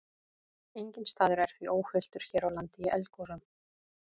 Enginn staður er því óhultur hér á landi í eldgosum.